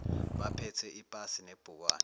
baphathe ipasi nebhukwana